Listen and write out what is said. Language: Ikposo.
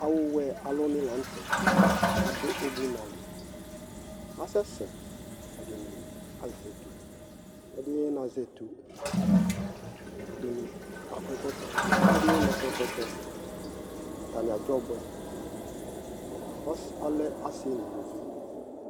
awʋ wɛ alʋ ni lantɛ adʋʋbʋ nali, asɛsɛ, ɛdini azɛ ɛtʋ, ɛdini nazɛ ɛtʋ, ɛdiniakɔ ɛkɔtɔ, ɛdini nakɔ ɛkɔtɔ atani adzɔ ɔbʋɛ, alɛ asii nʋ ʋlʋvi